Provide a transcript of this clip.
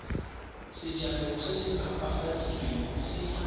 sejalo se se opafaditsweng se